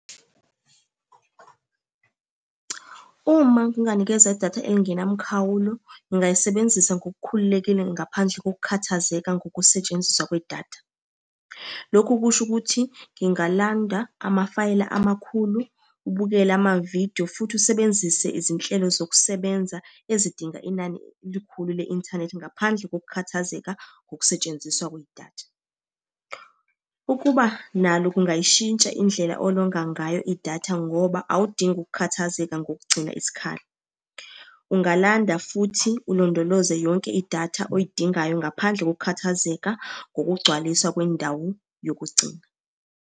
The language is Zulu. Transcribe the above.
Uma nginganikezwa idatha elingenamkhawulo, ngingayisebenzisa ngokukhululekile ngaphandle kokukhathazeka ngokusetshenziswa kwedatha. Lokhu kusho ukuthi, ngingalanda amafayela amakhulu, ukubukela amavidiyo, futhi usebenzise izinhlelo zokusebenza ezidinga inani elikhulu le-inthanethi ngaphandle kokukhathazeka ngokusetshenziswa kwedatha. Ukuba nalo kungayishintsha indlela olonga ngayo idatha ngoba awudingi ukukhathazeka ngokugcina isikhala. Ungalanda futhi ulondoloze yonke idatha oyidingayo ngaphandle kokukhathazeka ngokugcwaliswa kwendawo yokugcina.